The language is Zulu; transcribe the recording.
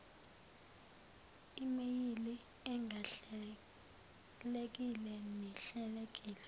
imeyili engahlelekile nehlelekile